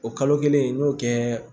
O kalo kelen n y'o kɛ